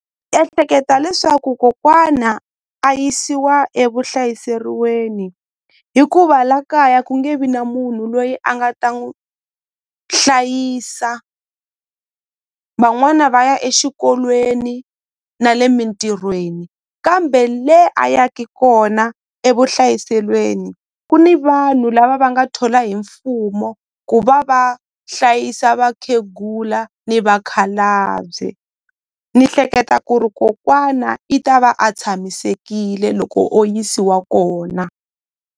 Ehleketa leswaku kokwana a yisiwa evuhlayiseriweni hikuva la kaya ku nge vi na munhu loyi a nga ta n'wi hlayisa van'wana va ya exikolweni na le mintirhweni kambe le a yaki kona evuhlayiselweni ku ni vanhu lava va nga thola hi mfumo ku va va hlayisa vakhegula ni vakhalabye ni hleketa ku ri kokwana i ta va a tshamisekile loko o yisiwa kona.